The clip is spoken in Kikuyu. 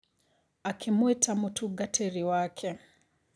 akĩmwĩta mũtungatĩri wake.